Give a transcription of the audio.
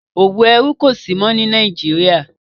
òwò ẹrú kò sí mọ́ ní Nàìjíríà.